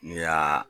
N'i y'a